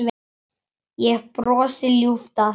Ég brosi ljúft að þessu.